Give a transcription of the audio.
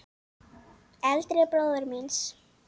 Eldri bróður míns?